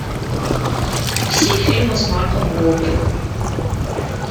все фильмы с марком уолбергом